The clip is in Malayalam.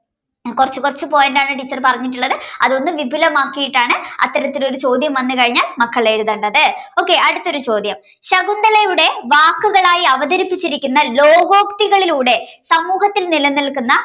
കൊറച്ച്കൊറച്ച് point ആണ് teacher പറഞ്ഞിട്ടുള്ളത് അതൊന്ന് വിപുലമാക്കിയിട്ടാണ് അത്തരത്തിലൊരു ചോദ്യം വന്നു കഴിഞ്ഞാൽ മക്കളെഴുതേണ്ടത്. okay അടുത്തൊരു ചോദ്യം. ശകുന്തളയുടെ വാക്കുകളായി അവതരിപ്പിച്ചിരിക്കുന്ന ലോകോക്തികളിലൂടെ സമൂഹത്തിൽ നിലനിൽക്കുന്ന